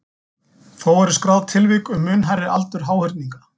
Þó eru skráð tilvik um mun hærri aldur háhyrninga.